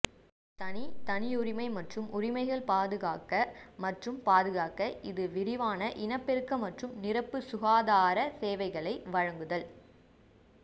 தனி தனியுரிமை மற்றும் உரிமைகள் பாதுகாக்க மற்றும் பாதுகாக்க இது விரிவான இனப்பெருக்க மற்றும் நிரப்பு சுகாதார சேவைகளை வழங்குதல்